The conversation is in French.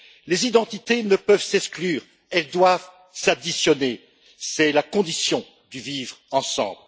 Les identités ne peuvent s'exclure, elles doivent s'additionner c'est la condition du vivre ensemble.